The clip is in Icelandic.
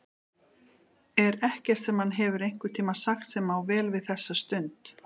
Er ekkert sem hann hefur einhvern tíma sagt sem á vel við þessa stund?